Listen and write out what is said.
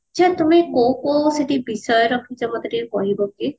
ଆଛା ତମେ କୋଉ କୋଉ ବିଷୟ ରଖିଛ ମତେ ଟିକେ କହିବ କି